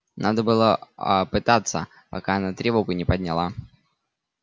надо было а пытаться пока она тревогу не подняла